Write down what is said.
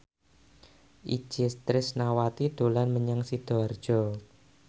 Itje Tresnawati dolan menyang Sidoarjo